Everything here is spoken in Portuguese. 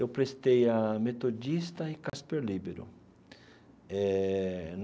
Eu prestei a Metodista e Cásper Líbero eh.